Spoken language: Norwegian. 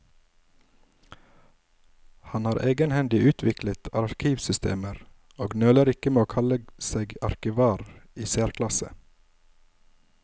Han har egenhendig utviklet arkivsystemer, og nøler ikke med å kalle seg arkivar i særklasse.